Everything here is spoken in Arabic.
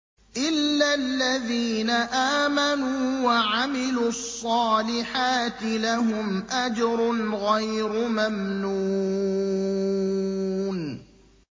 إِلَّا الَّذِينَ آمَنُوا وَعَمِلُوا الصَّالِحَاتِ لَهُمْ أَجْرٌ غَيْرُ مَمْنُونٍ